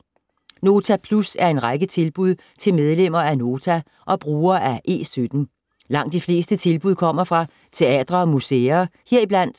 Nota Plus er en række tilbud til medlemmer af Nota og brugere af E17. Langt de fleste tilbud kommer fra teatre og museer - heriblandt: